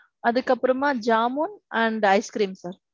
அதுக்கு அப்பறமா jamun and ice cream sir.